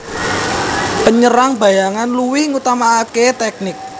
Penyerang bayangan luwih ngutamakaké tèknik